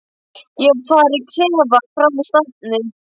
Ég var í klefa frammi í stafni.